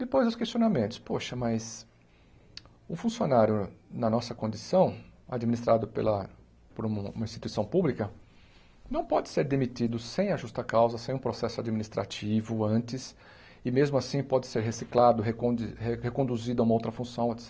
Depois os questionamentos, poxa, mas o funcionário na nossa condição, administrado pela por um uma instituição pública, não pode ser demitido sem a justa-causa, sem um processo administrativo antes, e mesmo assim pode ser reciclado, recondi re reconduzido a uma outra função, et